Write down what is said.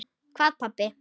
Hvað pabbi?